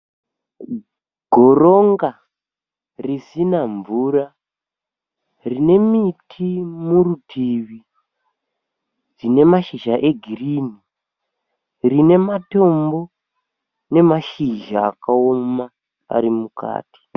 Goronga risina mvura rine miti murutivi dzine mashizha egirini. Rine matombo namashizha akaoma ari mukati.